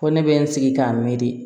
Ko ne bɛ n sigi k'a miiri